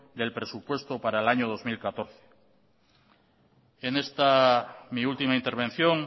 del presupuesto para el año dos mil catorce en esta mi última intervención